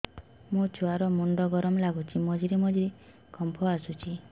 ମୋ ଛୁଆ ର ମୁଣ୍ଡ ଗରମ ଲାଗୁଚି ମଝିରେ ମଝିରେ କମ୍ପ ଆସୁଛି